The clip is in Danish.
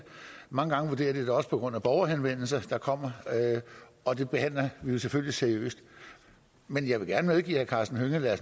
mange gange vurderer de det også på grund af borgerhenvendelser der kommer og det behandler vi jo selvfølgelig seriøst men jeg vil gerne medgive herre karsten hønge at